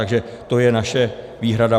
Takže to je naše výhrada.